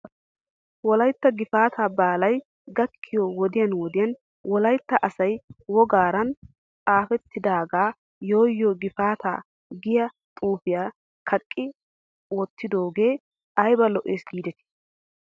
Wolayttan gifaataa baalay gakkiyoo wodiyan wodiyan wolaytta asay woggaran xaafettidaagaa yoo yoo gifaataa giyaa xuufiyaa kaqqi wottidoogee ayba lo'es giidetii?